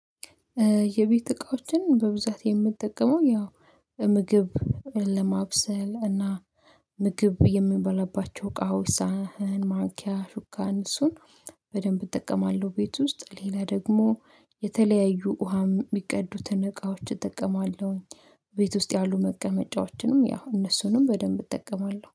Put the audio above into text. የቤት እቃዎችን በብዛት የምጠቀመው ያው ምግብ ለማብሰል እና ምግብ የሚበላባቸው እቃዎች ሳህን ማንኪያ ሹካን እነሱን በደንብ እጠቀማለው። ቤት ውስጥ ሌላ ደግሞ የተለያዩ ውሃም ሚቀዱትን እቃዎች እጠቀማለውኝ። ቤት ውስጥ ያሉ መቀመጫዎችንም ያው እነሱንም በደንብ እጠቀማለው